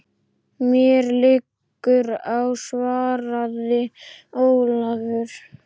Mér liggur á, svaraði Ólafur.